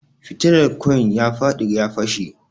Fitilar ƙoin ya faɗi ya fashe